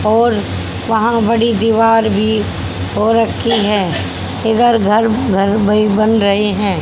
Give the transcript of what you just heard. और वहां एक बड़ी भी हो रखी है उधर घर घर बै बन रहे है।